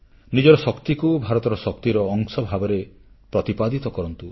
ନିଜର ଶକ୍ତିକୁ ଭାରତର ଶକ୍ତିର ଅଂଶ ଭାବରେ ପ୍ରତିପାଦିତ କରନ୍ତୁ